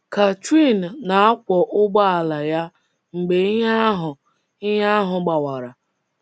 Catherine na-akwọ ụgbọala ya mgbe ihe ahụ ihe ahụ gbawara.